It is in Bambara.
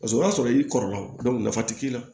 Paseke o y'a sɔrɔ i kɔrɔlaw nafa ti k'i la